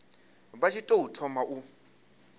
vha tshi tou thoma u